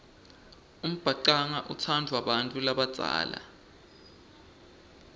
umbhacanga utsandvwa bantfu labadzala